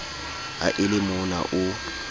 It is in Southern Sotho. ha e le mona o